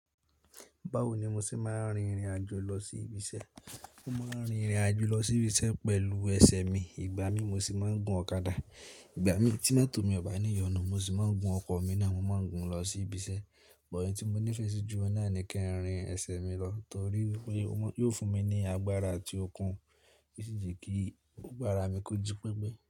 Báwoni mo ṣe máa rin ìrìn àjò lọ sí ibi iṣẹ́? Mo máa ń rin ìrìn àjò lọ sí ibi iṣẹ́ pẹ̀lú ẹsẹ̀ mi, ìgbà mi mo sì máa ń gun ọ̀kadà. Ìgbà mí tí mọ́tò mi ò bá ní ìyọnu, mo sì máa ń gun ọkọ̀ mi náà, mo máa ń gun lọ sí ibi iṣẹ́. Bọ̀ tí mo nífẹ̀ẹ́ sí ju ọ̀ nà ni kẹ́ rin ẹsẹ̀ mi lọ torí pé yóò fún mi ní agbára atí ó kún, yo sì jẹ́ kí agbára mi kú ju pẹ́ẹ́pẹ́.